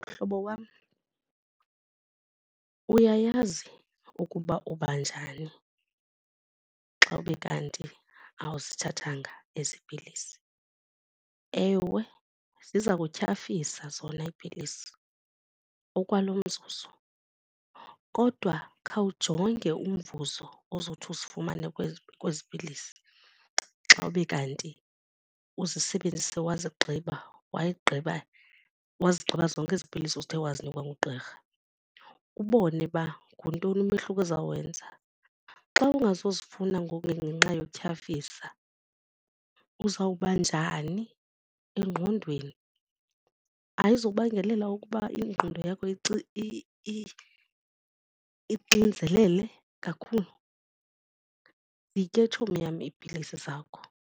Mhlobo wam, uyayazi ukuba uba njani xa ube kanti awuzithathanga ezi pilisi. Ewe, ziza kutyhafisa zona iipilisi okwalo mzuzu kodwa khawujonge umvuzo ozothi uzifumane kwezi pilisi xa ube kanti uzisebenzise wazigqiba wayigqiba wazigqiba zonke ezi pilisi uthe wazinikwa ngugqirha ubone uba nguntoni umehluko ezawenza. Xa ungazifunda ngoku ngenxa yokutyhafisa uzawuba njani engqondweni? Ayizobangelela ukuba ingqondo yakho ixinzelele kakhulu? Zitye tshomi yam iipilisi zakho.